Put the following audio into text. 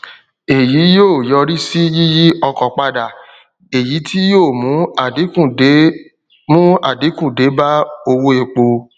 èyí yóò yọrí sí yíyí ọkọ padà èyí tí yóò mú àdínkù dé mú àdínkù dé bá owó epo